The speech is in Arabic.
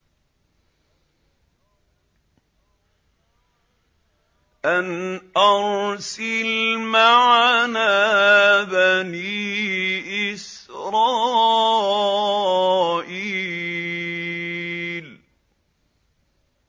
أَنْ أَرْسِلْ مَعَنَا بَنِي إِسْرَائِيلَ